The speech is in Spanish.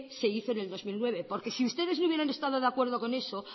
se hizo en el dos mil nueve porque si ustedes no hubieran estado de acuerdo con eso